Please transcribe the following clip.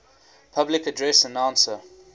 public address announcer